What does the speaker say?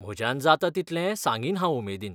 म्हज्यान जाता तितलें सांगीन हांव उमेदीन.